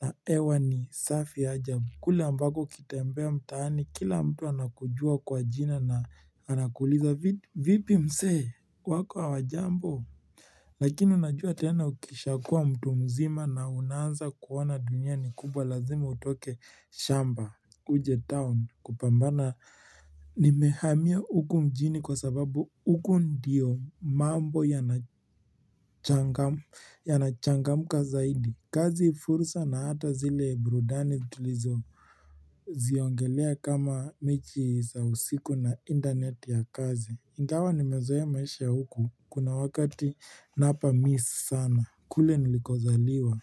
Na hewa ni safi ajabu. Kule ambako ukitembea mtaani. Kila mtu anakujua kwa jina na Anakuliza vipi msee wako hawajambo Lakini unajua tena ukishakuwa mtu mzima na unaanza kuona dunia ni kubwa lazima utoke shamba Uje town kupambana nimehamia huku mjini kwa sababu huku ndiyo mambo yanachangamka zaidi kazi fursa na hata zile burudani tulizoziongelea kama mechi za usiku na internet ya kazi Ingawa nimezoea maisha huku kuna wakati napamiss sana kule nilikozaliwa.